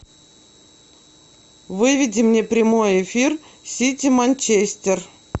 выведи мне прямой эфир сити манчестер